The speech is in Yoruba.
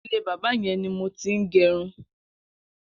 Ilé bàbà yẹn ni mó ti n gẹrún